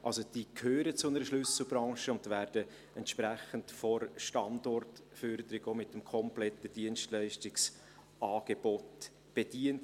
Also gehören diese zu einer Schlüsselbranche und werden entsprechend von der Standortförderung auch mit dem kompletten Dienstleistungsangebot bedient.